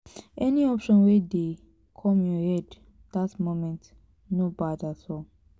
any option wey dey kom yur head dat moment no bad at all